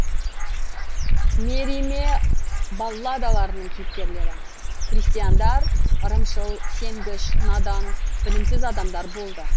мериме балладаларының кейіпкерлері крестьяндар ырымшыл сенгіш надан білімсіз адамдар болды